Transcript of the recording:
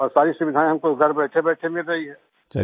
और सारी सुविधाएँ हमको घर बैठेबैठे मिल रही हैं